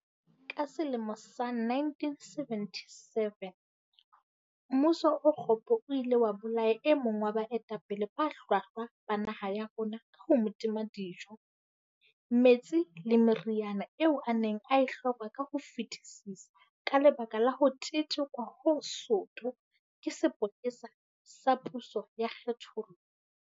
Ka selemo sa 1977, mmuso o kgopo o ile wa bolaya e mong wa baetapele ba hlwahlwa ba naha ya rona ka ho mo tima dijo, metsi le meriana eo a neng a e hloka ka ho fetisisa ka lebaka la ho tetekwa ho soto ke sepolesa sa puso ya kgenthollo.